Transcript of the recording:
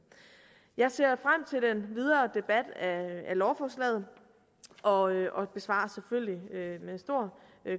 jeg ser frem til den videre debat af lovforslaget og og besvarer selvfølgelig med stor